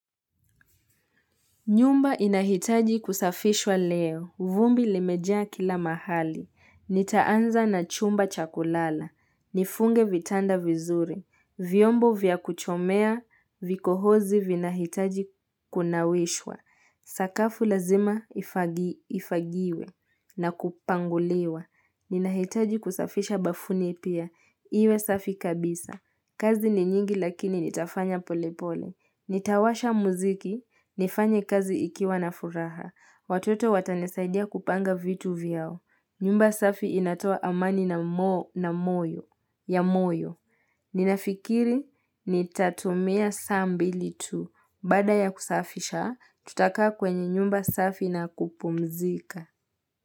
Nyumba inahitaji kusafishwa leo, vumbi limejaa kila mahali, nitaanza na chumba chakulala, nifunge vitanda vizuri, vyombo vya kuchomea, vikohozi vina hitaji kunawishwa, sakafu lazima ifagiwe na kupanguliwa, nina hitaji kusafisha bafuni pia, iwe safi kabisa, kazi ni nyingi lakini nitafanya pole pole. Nitawasha muziki, nifanye kazi ikiwa na furaha, watoto watanisaidia kupanga vitu vyao, nyumba safi inatoa amani na moyo, ya moyo, ninafikiri ni tatumia saa mbili tu, baada ya kusafisha, tutakaa kwenye nyumba safi na kupumzika.